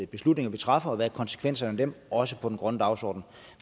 beslutninger vi træffer og hvad konsekvenserne af dem også for den grønne dagsorden